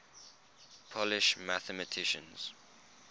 polish mathematicians